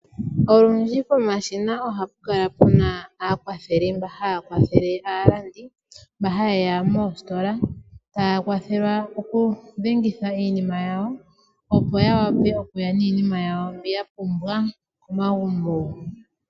Olundji pomashina ohapu kala pu na aakwatheli mba haya kwathele aalandi mba haye ya moositola, taya kwathelwa okudhengitha iinima yawo, opo ya wape okuya niinima yawo mbi ya pumbwa komagumbo.